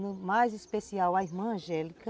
No mais especial, a irmã Angélica.